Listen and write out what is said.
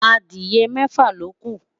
Adiye mẹfa loku